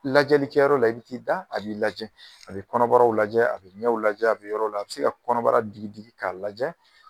Lajɛlikɛ yɔrɔ la i b'i da a b'i lajɛ, a bɛ kɔnɔbaraw lajɛ, a bɛ ɲɛw lajɛ, a bɛ yɔrɔ la, a bɛ se ka kɔnɔbara digi digi k'a lajɛ.